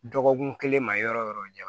Dɔgɔkun kelen ma yɔrɔ yɔrɔ